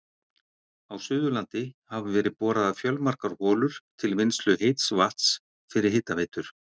Á Suðurlandi hafa verið boraðar fjölmargar holur til vinnslu heits vatns fyrir hitaveitur.